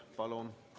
Palun!